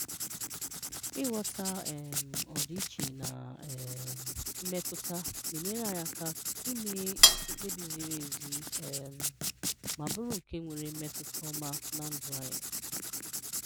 Ịghọta um ọdịiche na um mmetụta na-enyere anyi aka ime mkpèbi ziri ezi um ma bụrụ nke nwere mmetụta ọma na ndụ anyị.